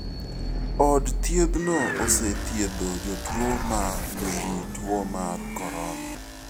Od thiedhno osethiedho jotuo ma nigi tuo mar corona.